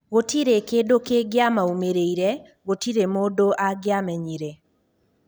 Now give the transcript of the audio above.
Gũtirĩ kĩndũ kĩngĩamaumĩrĩire, gũtirĩ mũndũ angĩamenyire.